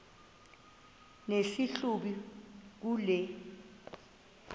nesi hlubi kule